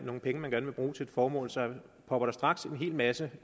nogle penge man gerne vil bruge til et formål så popper der straks en hel masse